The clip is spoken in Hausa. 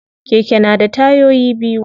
Keke na da tayoyi biyu.